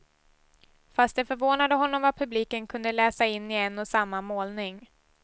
Fast det förvånade honom vad publiken kunde läsa in i en och samma målning.